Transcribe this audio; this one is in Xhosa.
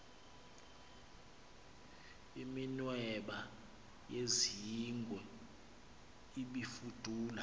iminweba yezingwe ibifudula